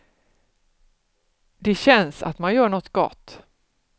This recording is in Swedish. Det känns att man gör något gott.